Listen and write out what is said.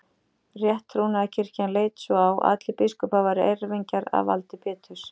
Rétttrúnaðarkirkjan leit svo á að allir biskupar væru erfingjar að valdi Péturs.